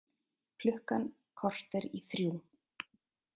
Klukkan korter í þrjú